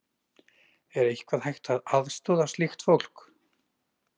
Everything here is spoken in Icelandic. Er eitthvað hægt að aðstoða slíkt fólk?